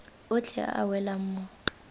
otlhe a a welang mo